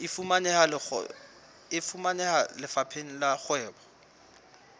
e fumaneha lefapheng la kgwebo